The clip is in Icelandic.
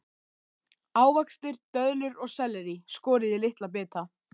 Ávextir, döðlur og sellerí skorið í litla bita.